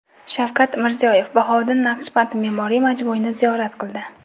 Shavkat Mirziyoyev Bahouddin Naqshband me’moriy majmuini ziyorat qildi.